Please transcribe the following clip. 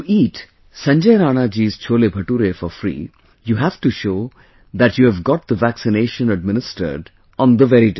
To eat Sanjay Rana ji'scholebhature for free, you have to show that you have got the vaccine administered on the very day